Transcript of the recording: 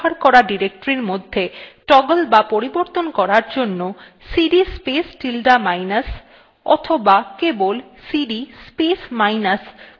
বর্তমান কর্মরত directory এবং শেষ ব্যবহার করা directory মধ্যে toggle বা পরিবর্তন করার জন্য সিডি স্পেস tilde minus অথবা কেবল সিডি স্পেস minus command ব্যবহার করতে হয়